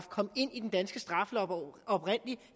kom ind i den danske straffelov